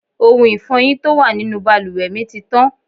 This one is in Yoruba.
Ohun Ifọ́yín tó wà nínú bàlùwẹ̀ mi ti tán.